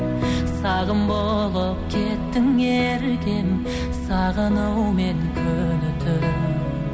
сағым болып кеттің еркем сағынумен күні түн